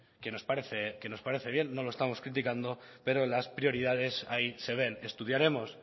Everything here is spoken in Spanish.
que nos parece bien no lo estamos criticando pero las prioridades ahí se ven estudiaremos